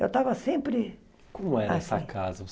Eu estava sempre... Como era essa casa?